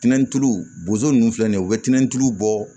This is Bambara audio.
Tɛntɛnu bozo ninnu filɛ nin ye u bɛ tɛntɛn tulu bɔ